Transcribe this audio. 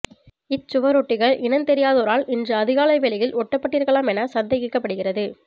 இச் சுவரொட்டிகள் இனந்தெரியாதோரால் இன்று அதிகாலை வேளையில் ஒட்டப்பட்டிருக்கலாம் என சந்தேகிக்கப்படுகிறது